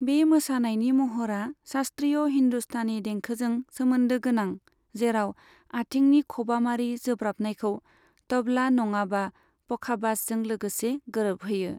बे मोसानायनि महरा शास्त्रीय हिन्दुस्तानी देंखोजों सोमोन्दोगोनां जेराव आथिंनि खबामारि जोब्राबनायखौ तबला नङाबा पखाबाजजों लोगोसे गोरोबहोयो।